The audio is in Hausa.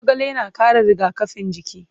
Zogale na ƙara rigakafin jiki.